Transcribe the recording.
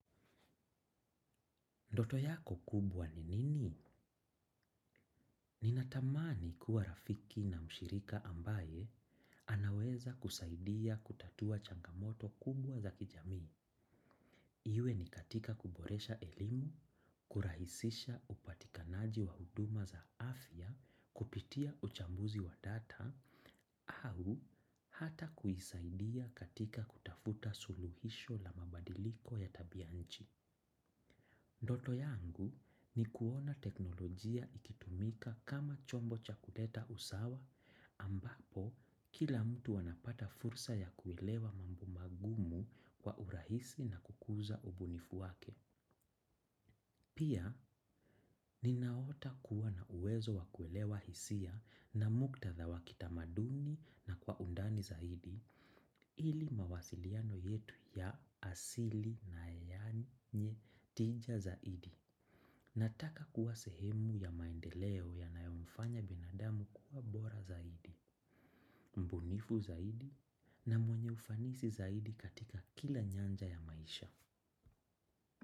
Ndoto yako kubwa ni nini? Ninatamani kuwa rafiki na mshirika ambaye anaweza kusaidia kutatua changamoto kubwa za kijamii. Iwe ni katika kuboresha elimu, kurahisisha upatikanaji wa huduma za afya, kupitia uchambuzi wa data, au hata kuisaidia katika kutafuta suluhisho la mabadiliko ya tabianchi. Ndoto yangu ni kuona teknolojia ikitumika kama chombo cha kuleta usawa ambapo kila mtu anapata fursa ya kuelewa mambo magumu kwa urahisi na kukuza ubunifu wake. Pia ninaota kuwa na uwezo wa kuelewa hisia na muktadha wakitamaduni na kwa undani zaidi ili mawasiliano yetu ya asili na yenye tija zaidi. Nataka kuwa sehemu ya maendeleo yanayomfanya binadamu kuwa bora zaidi, mbunifu zaidi na mwenye ufanisi zaidi katika kila nyanja ya maisha.